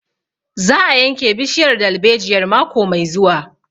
Za a yanke bishiyar dalbejiyar mako mai zuwa